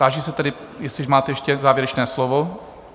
Táži se tedy, jestli máte ještě závěrečné slovo?